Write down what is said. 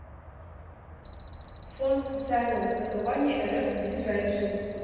фонд социального страхования рф ближайший